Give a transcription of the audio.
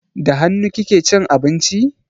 Da hannu kike cin abinci?